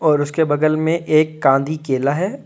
और उसके बगल में एक कांदी केला है।